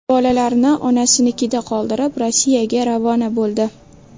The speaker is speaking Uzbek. Bolalarini onasinikida qoldirib, Rossiyaga ravona bo‘ldi.